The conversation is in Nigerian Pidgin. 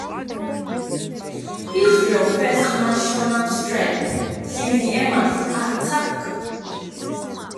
israel first national strike since di emas attack.